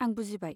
आं बुजिबाय।